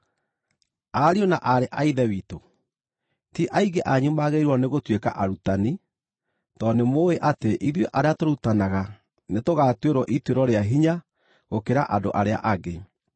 Ariũ na aarĩ a Ithe witũ, ti aingĩ anyu magĩrĩirwo nĩ gũtuĩka arutani, tondũ nĩ mũũĩ atĩ ithuĩ arĩa tũrutanaga nĩtũgaatuĩrwo ituĩro rĩa hinya gũkĩra andũ arĩa angĩ.